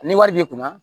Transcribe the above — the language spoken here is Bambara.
Ni wari b'i kunna